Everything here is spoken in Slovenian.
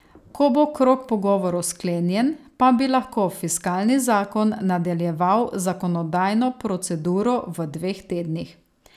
Ko bo krog pogovorov sklenjen, pa bi lahko fiskalni zakon nadaljeval z zakonodajno proceduro v dveh tednih.